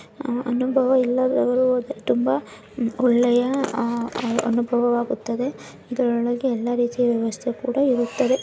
ಅನುಭವ ಇಲ್ಲದವರು ಹೋದರೆ ತುಂಬಾ ಒಳ್ಳೆಯ ಅನುಭವವಾಗುತ್ತದೆ ಇದರೊಳಗೆ ಎಲ್ಲಾ ರೀತಿಯ ವ್ಯವಸ್ಥೆ ಕೂಡ ಇರುತ್ತದೆ .